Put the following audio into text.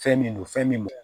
Fɛn min don fɛn min